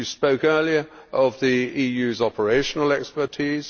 You spoke earlier of the EU's operational expertise